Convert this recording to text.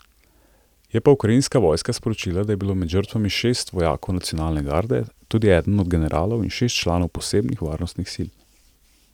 Je pa ukrajinska vojska sporočila, da je bilo med žrtvami šest vojakov Nacionalne garde, tudi eden od generalov, in šest članov posebnih varnostnih sil.